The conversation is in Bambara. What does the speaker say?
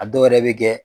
A dɔw yɛrɛ bɛ kɛ